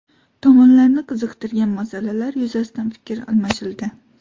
Tomonlarni qiziqtirgan masalalar yuzasidan fikr almashildi.